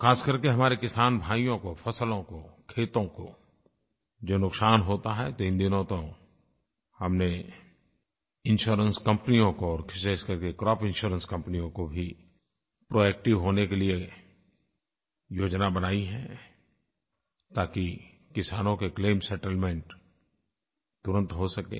खास कर के हमारे किसान भाइयों को फ़सलों को खेतों को जो नुकसान होता है तो इन दिनों तो हमने इंश्योरेंस कंपनियों को और विशेष करके क्रॉप इंश्योरेंस कंपनियों को भी प्रोएक्टिव होने के लिये योजना बनाई है ताकि किसानों के क्लेम सेटलमेंट तुरंत हो सकें